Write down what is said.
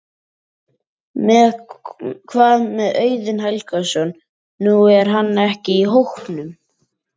Hvað með Auðun Helgason, nú er hann ekki í hópnum?